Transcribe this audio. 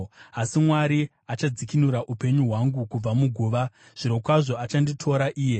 Asi Mwari achadzikinura upenyu hwangu kubva muguva, zvirokwazvo achanditora iye. Sera